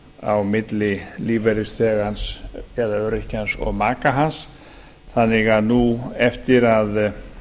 á milli lífeyrisþegans eða öryrkjans og maka hans þannig að nú eftir að